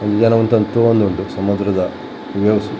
ಒಂಜಿ ಜನ ಉಂತೊಂದು ತೂವೊಂದುಂಡು ಸಮುದ್ರದ ವೇವ್ಸ್ .